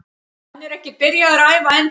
Hann er ekki byrjaður að æfa ennþá.